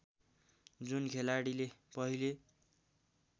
जुन खेलाडीले पहिले